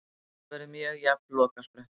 Þetta verður mjög jafn lokasprettur.